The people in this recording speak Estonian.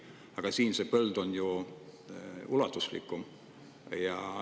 Aga siin see põld on ju ulatuslikum.